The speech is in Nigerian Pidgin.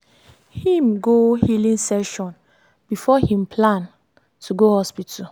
him go healing session before him plan to go hospital